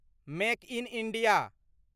make in India